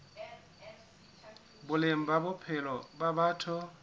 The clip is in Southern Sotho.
boleng ba bophelo ba batho